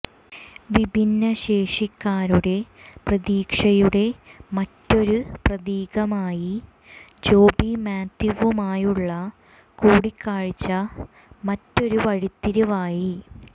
വിഭിന്ന ശേഷിക്കാരുടെ പ്രതീക്ഷയുടെ മറ്റൊരു പ്രതീകമായി ജോബി മാത്യുവുമായുള്ള കൂടിക്കാഴ്ച മറ്റൊരു വഴിത്തിരിവായി